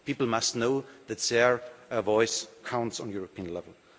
People must know that their voice counts at a European level.